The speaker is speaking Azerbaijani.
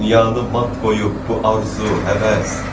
Dünyanı mat qoyub bu arzu, həvəs.